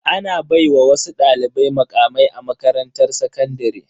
Ana baiwa wasu dalibai mukamai a makarantar sakandare.